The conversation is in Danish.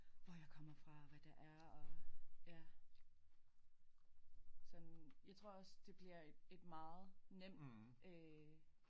Hvor jeg kommer fra hvad der er og ja sådan jeg tror også det bliver et meget nem øh